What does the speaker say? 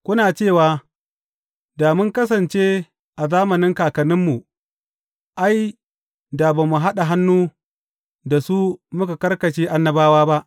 Kuna cewa, Da mun kasance a zamanin kakanninmu, ai, da ba mu haɗa hannu da su muka karkashe annabawa ba.’